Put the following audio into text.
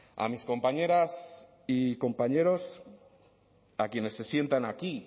a mis compañeras y compañeros a quienes se sientan aquí